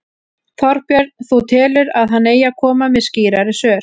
Þorbjörn: Þú telur að hann eigi að koma með skýrari svör?